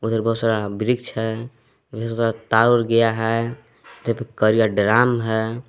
उधर बहुत सारा वृक्ष है तार वोर गया है कारिया ड्राम है।